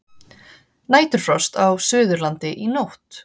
Næturfrost á Suðurlandi í nótt